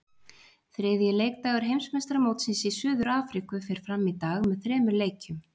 Þriðji leikdagur Heimsmeistaramótsins í Suður Afríku fer fram í dag með þremur leikjum.